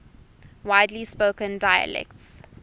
widely spoken dialects